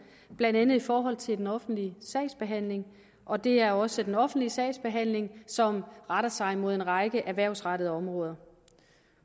blandt andet i forhold til den offentlige sagsbehandling og det er også den offentlige sagsbehandling som retter sig mod en række erhvervsrettede områder